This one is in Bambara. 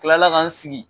Kila la ka n sigi